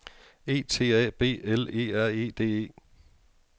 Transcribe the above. E T A B L E R E D E